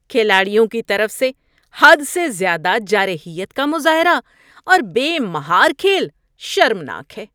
کھلاڑیوں کی طرف سے حد سے زیادہ جارحیت کا مظاہرہ اور بے مہار کھیل شرمناک ہے